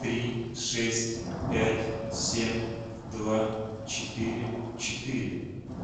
три шесть пять семь два четыре четыре